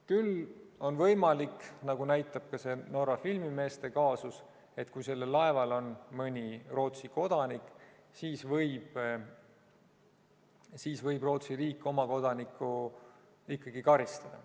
Küll on võimalik, nagu näitab ka see Norra filmimeeste kaasus, et kui sellel laeval on mõni Rootsi kodanik, siis võib Rootsi riik oma kodanikku ikkagi karistada.